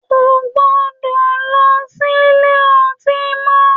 Ko gbọdọ̀ lọ sílé ọtí mọ!